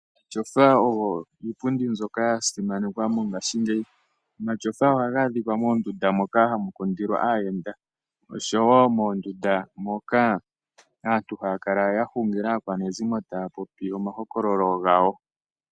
Omatyofa ogo iipundi mbyoka ya simanekwa mongashingeyi. Omatyofa ohaga adhika moondunda moka hamu kundilwa aayenda noshowo moondunda moka aantu haya kala ya hungila aakwanezimo taya popi omahokololo gawo.